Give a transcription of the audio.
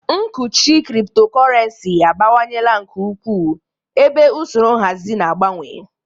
Nkuchi Cryptocurrency abawanyela nke ukwuu, ebe usoro nhazi na-agbanwe.